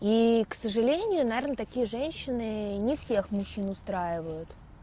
и к сожалению наверно такие женщины не всех мужчин устраивают